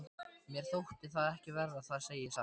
Mér þótti það ekki verra, það segi ég satt.